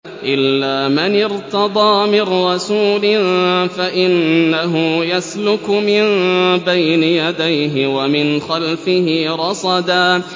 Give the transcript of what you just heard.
إِلَّا مَنِ ارْتَضَىٰ مِن رَّسُولٍ فَإِنَّهُ يَسْلُكُ مِن بَيْنِ يَدَيْهِ وَمِنْ خَلْفِهِ رَصَدًا